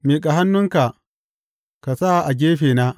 Miƙa hannunka ka sa a gefena.